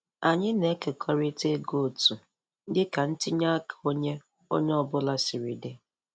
Anyị na-ekekọrịta ego otu dị ka ntinye aka onye onye ọ bụla siri dị.